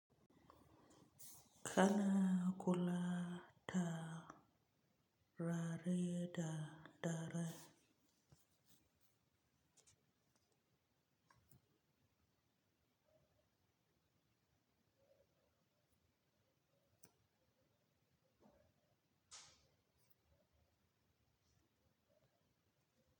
Kana kula ta rari da dare.